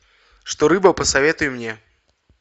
что рыба посоветуй мне